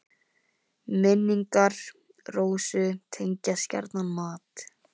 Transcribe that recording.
Minn- ingar Rósu tengjast gjarnan mat.